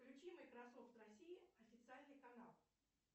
включи майкрософт россия официальный канал